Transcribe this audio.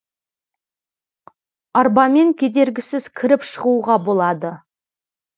арбамен кедергісіз кіріп шығуға болады